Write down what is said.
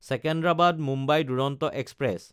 Secunderabad-Mumbai Duronto express